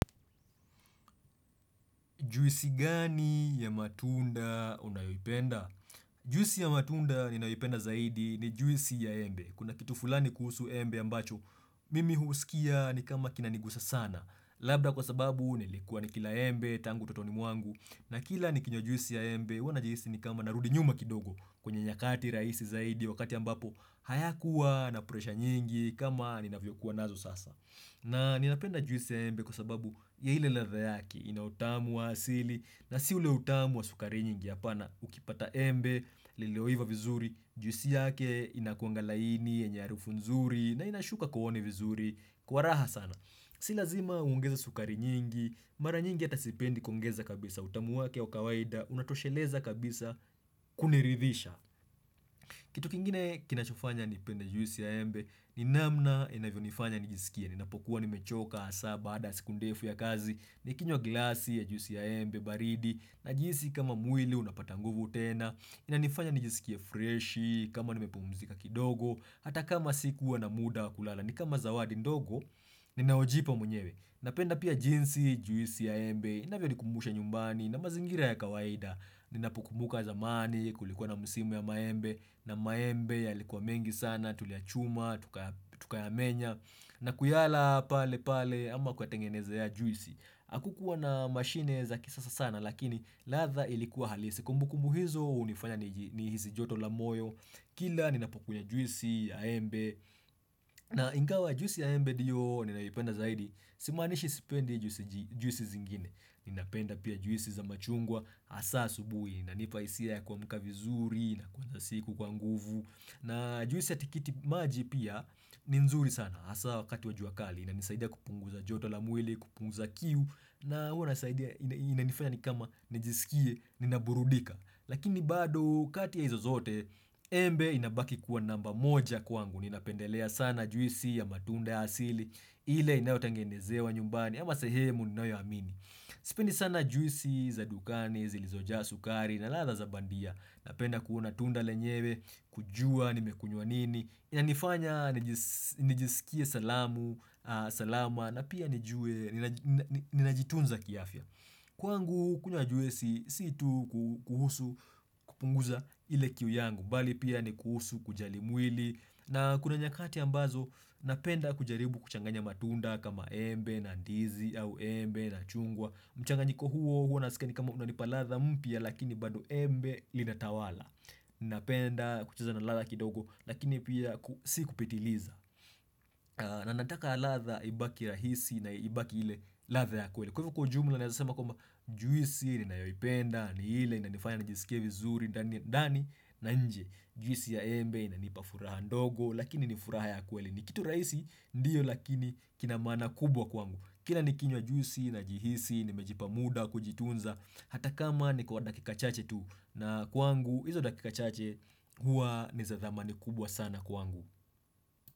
Juisi gani ya matunda unayoyipenda? Juisi ya matunda ninaoyipenda zaidi ni juisi ya embe. Kuna kitu fulani kuhusu embe ambacho, mimi husikia ni kama kinanigusa sana. Labda kwa sababu nilikuwa ni kila embe, tangu utotoni mwangu. Na kila nikinywa juisi ya embe, huwa najisi ni kama narudi nyuma kidogo. Kwenye nyakati rahisi zaidi wakati ambapo, haya kuwa na presha nyingi kama ninavyo kuwa nazo sasa. Na ninapenda juisi ya embe kwa sababu ya ile ladha yake inautamu wa asili na si ule utamu wa sukari nyingi ya hapana ukipata embe, lileoiva vizuri, juisi yake inakuangalaini, yenye hariufunzuri na inashuka kuone vizuri kwa raha sana. Silazima ungeze sukari nyingi, mara nyingi atasipendi kuongeza kabisa utamu wake wakawaida, unatosheleza kabisa kuniridhisha. Kitu kingine kinachofanya nipenda juisi ya embe, ninamna inavyo nifanya nijisikia, ninapokuwa nimechoka hasa baada siku ndefu ya kazi, nikinywa glasi ya juisi ya embe baridi, na jinsi kama mwili unapatanguvu utena, inanifanya nijisikia freshi, kama nimepumzika kidogo, hata kama sikuwa na muda kulala, nikama zawadi ndogo, ninaojipa mwenyewe. Napenda pia jinsi juisi ya embe, inavyo likumusha nyumbani na mazingira ya kawaida Ninapukumuka zamani kulikuwa na musimu ya maembe na maembe ya likuwa mengi sana, tulia chuma, tukaya menya na kuyala pale pale ama kuatengeneza ya juisi Akukuwa na mashine za kisasa sana lakini ladha ilikuwa halisi Kumbukumu hizo hunifanya ni hisi joto lamoyo Kila ninapokunywa juisi ya embe na ingawa juisi ya embe ndio ninayipenda zaidi Simanishi sipendi juisi zingine Ninapenda pia juisi za machungwa hasa asubuhi inanipa hisia ya kua mka vizuri na kwanza siku kwa nguvu na juisi ya tikiti maji pia ni nzuri sana hAsa wakati wa juakali ina nisaidia kupunguza joto la mwili, kupunguza kiu na hua nisaidia ina nifanya nikama nijisikie, nina burudika Lakini bado katia hizo zote embe inabaki kuwa namba moja kwangu Ninapendelea sana juisi ya matunde asili ile inayo tangenezewa nyumbani ama sehemu inayo amini Sipendi sana juisi za dukani, zilizoja sukari na ladha za bandia Napenda kuuna tunda lenyewe, kujua, nimekunyuanini Inanifanya, nijisikie salamu, salama na pia nijue, ninajitunza kiafya Kwangu kunywa juisi situ kuhusu, kupunguza ile kiu yangu mbali pia ni kusu kujali mwili na kuna nyakati ambazo napenda kujaribu kuchanganya matunda kama embe na ndizi au embe na chungwa. Mchanganyiko huo huo nasikia ni kama kunanipa ladha mpya lakini bado embe linatawala. Napenda kucheza na ladha kidogo lakini pia si kupitiliza. Nanataka ladha ibaki rahisi na ibaki hile ladha ya kweli. Kwa hivyo kujumla na yasema kwamba juisi nina yoipenda ni hile ni na nifanya njisikia vizuri ndani na nje. Juisi ya embe na inipafuraha ndogo lakini nifuraha ya kweli. Nikitu rahisi ndiyo lakini kinamaana kubwa kwangu. Kila nikinywa juisi na jihisi, nimejipa muda, kujitunza. Hata kama ni kwa dakika chache tu na kwangu, hizo dakika chache hua niza dhamani kubwa sana kwangu.